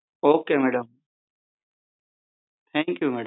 Ok madam thank you madam